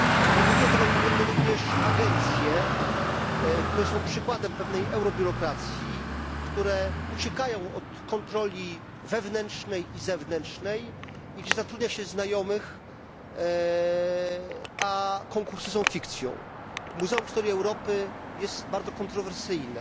Nie budują tego autorytetu również agencje, które są przykładem pewnej eurobiurokracji, które uciekają od kontroli wewnętrznej i zewnętrznej i gdzie zatrudnia się znajomych, a konkursy są fikcją. Muzeum Historii Europy jest bardzo kontrowersyjne.